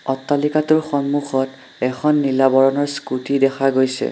অট্টালিকাটোৰ সন্মুখত এখন নীলা বৰণৰ স্কুটি দেখা গৈছে।